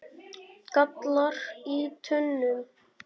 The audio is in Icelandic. gallar í tönnum